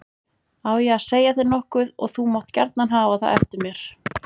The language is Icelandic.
Á ég að segja þér nokkuð og þú mátt gjarna hafa það eftir mér.